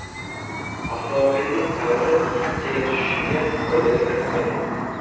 Avtomobilning ta’miri qanchaga tushishiga oydinlik kiritilmagan.